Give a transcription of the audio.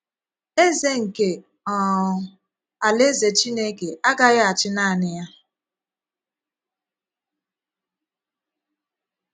Eze nke um Alaeze Chineke agaghị achì naanị ya.